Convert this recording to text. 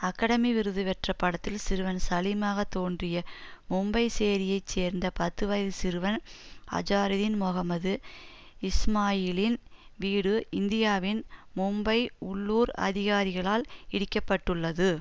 academy விருது பெற்ற படத்தில் சிறுவன் சலீமாக தோன்றிய மும்பை சேரியைச் சேர்ந்த பத்து வயது சிறுவன் அஜாருதீன் மொஹம்மது இஸ்மாயிலின் வீடு இந்தியாவின் மும்பை உள்ளூர் அதிகாரிகளால் இடிக்கப்பட்டுள்ளது